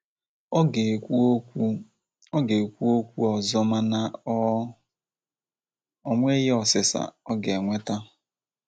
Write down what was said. ọ ga-ekwu okwu ọ ga-ekwu okwu ọzọ mana o nweghi ọsịsa o ga-enweta